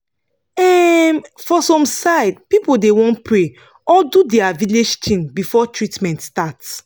um for some side pipu da want pray or do dia village tin before treatment start